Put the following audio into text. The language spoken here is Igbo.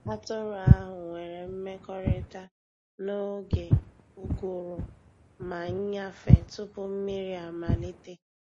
Atụrụ ahụ nwere mmekọrịta n’oge uguru ma nnyafe tupu mmiri amalite.